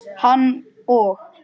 Hann og